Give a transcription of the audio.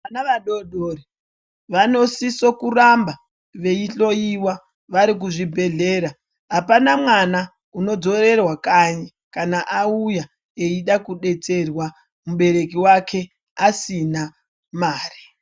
Vana vadodori vanosiso-kuramba veihloiwa vari kuzvibhedhlera ,apana mwana unodzorerwa kanyi kana auya eida kudetserwa mubereki wake asina mari.